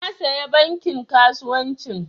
Na saya bankin kasuwancin